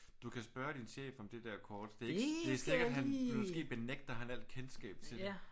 Du kan spørge din chef om det der kort. Det er ikke det er sikkert han. Måske benægter han al kendskab til det